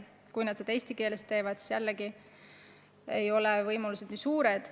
Kui nad oma töö eesti keeles teevad, siis ei ole võimalused nii suured.